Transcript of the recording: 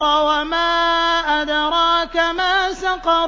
وَمَا أَدْرَاكَ مَا سَقَرُ